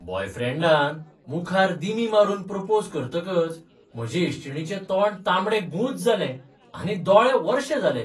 बॉयफ्रेंडानं मुखार दिमी मारून प्रोपोज करतकच म्हजे इश्टीणीचें तोंड तामडेंगुंज जालें आनी दोळे वर्शे जाले.